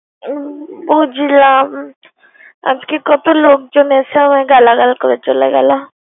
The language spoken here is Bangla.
বুঝলাম আজকে কত লোকজন এসে আমার গালাগাল করে চলে।